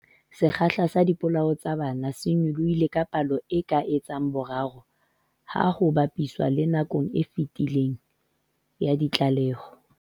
Sekgahla sa dipolao tsa bana se nyolohile ka palo e ka etsang boraro ha ho ba piswa le nakong e fetileng ya ditlaleho.